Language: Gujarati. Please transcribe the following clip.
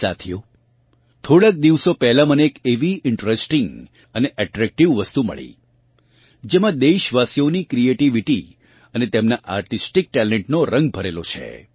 સાથીઓ થોડાંક દિવસો પહેલાં મને એક એવી ઇન્ટરેસ્ટિંગ અને અટ્રેક્ટિવ વસ્તુ મળી જેમાં દેશવાસીઓની ક્રિએટીવિટી અને તેમનાં આર્ટિસ્ટિક ટેલેન્ટનો રંગ ભરેલો છે